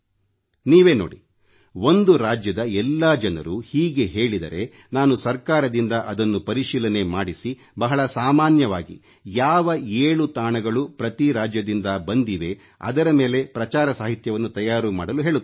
ನೀವೇ ನೋಡಿ ಒಂದು ರಾಜ್ಯದ ಎಲ್ಲಾ ಜನರು ಹೀಗೆ ಹೇಳಿದರೆ ನಾನು ಸರ್ಕಾರದಿಂದ ಅದನ್ನು ಪರಿಶೀಲನೆ ಮಾಡಿಸಿ ಬಹಳ ಸಾಮಾನ್ಯವಾಗಿ ಯಾವ 7 ತಾಣಗಳು ಪ್ರತಿ ರಾಜ್ಯದಿಂದ ಬಂದಿವೆ ಅದರ ಮೇಲೆ ಪ್ರಚಾರ ಸಾಹಿತ್ಯವನ್ನು ತಯಾರು ಮಾಡಲು ಹೇಳುತ್ತೇನೆ